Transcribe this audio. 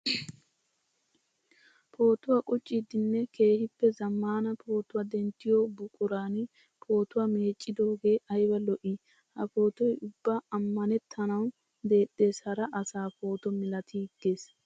Pootuwa qucciddinne keehippe zamaana pootuwa denttiyo buquran pootuwa meeccidoge aybba lo'i! Ha pootoy ubba amannettanawu deexxes hara asa pooto malatigeesi.